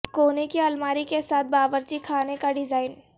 کونے کی الماری کے ساتھ باورچی خانے کا ڈیزائن